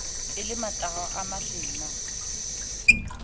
e le matahwa a mahlena